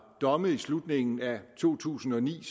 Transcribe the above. domme i slutningen af to tusind og ni